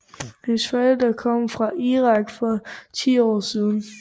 Hendes forældre kom fra Irak for 10 år siden